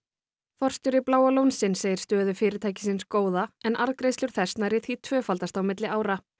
forstjóri Bláa lónsins segir stöðu fyrirtækisins góða en arðgreiðslur þess nærri því tvöfaldast á milli ára